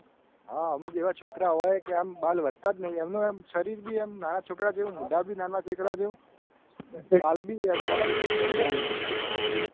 હા અમુક એવા છોકરા હોય કે આમ બાલ વધતા જ નહીં એમનું એમ શરીર પણ બી એમ નાના છોકરા જેવું મોઢા બી નાના છોકરા જેવા ગાલભી એમના